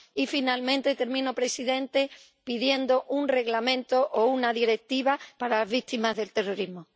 Y, finalmente, termino, señor presidente, pidiendo un reglamento o una directiva para las víctimas del terrorismo.